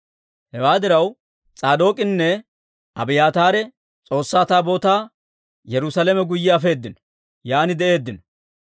Hewaa diraw, S'aadook'inne Abiyaataare S'oossaa Taabootaa Yerusaalame guyye afeedino; yaan de'eeddino.